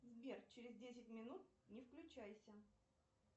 сбер через десять минут не включайся